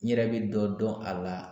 N yɛrɛ bɛ dɔ dɔn a la